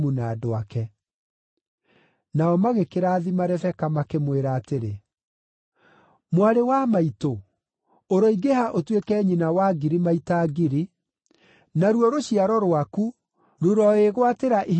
Nao magĩkĩrathima Rebeka makĩmwĩra atĩrĩ, “Mwarĩ wa maitũ, ũroingĩha ũtuĩke nyina wa ngiri maita ngiri, naruo rũciaro rwaku rũroĩgwatĩra ihingo cia thũ ciao.”